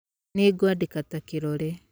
Nĩ ngũandĩka ta kĩrore